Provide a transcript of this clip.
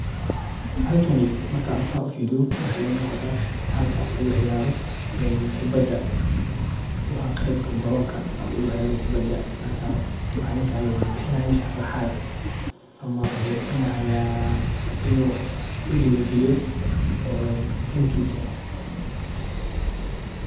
Halkani markan san ufiriyo waxa igamuqata halka lagu ciyaro kubada, wa qeybka garonka lagu ciyaro kubada, marka calinka aya uxu bixinayah sharaxad ama wuxu bixinayah inu dirigaliyo timkisa.